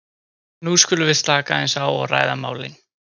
nú skulum við slaka aðeins á og ræða málin.